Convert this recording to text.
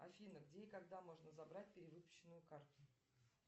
афина где и когда можно забрать перевыпущенную карту